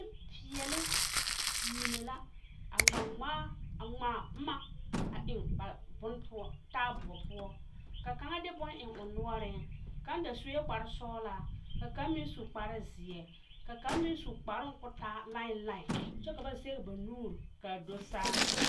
Nenpeɛle mine la a ŋmaa ŋmaaro a ŋmaa boma a eŋ ba bon poɔ taaboɔ poɔ ka kaŋa de bon eŋ o noɔre kaŋ da seɛ kpare sɔglaa ka kaŋa meŋ su kpare ziɛ ka kaŋa meŋ su kparo ko taa lae lae kyɛ ka ba zage ba nuure kaa do saa.